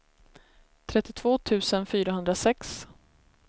trettiotvå tusen fyrahundrasex